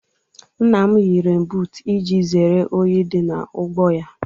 Nna m yi renbuutu iji zeere unyi dị n'ugbo ya.